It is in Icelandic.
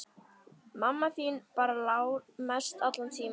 Mamma þín bara lá mest allan tímann.